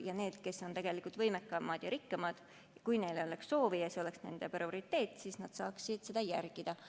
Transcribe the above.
Ja need, kes on tegelikult võimekamad ja rikkamad, kui neil oleks soovi, kui see oleks nende prioriteet, saaksid seda järgida.